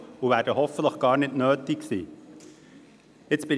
Sie werden hoffentlich gar nicht nötig sein.